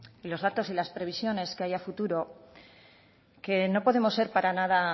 los datos y las previsiones que hay a futuro que no podemos ser para nada